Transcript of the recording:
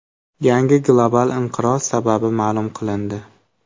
Yangi global inqiroz sababi ma’lum qilindi.